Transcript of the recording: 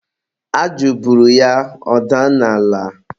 ajụ buru ya, ọ daa n'ala.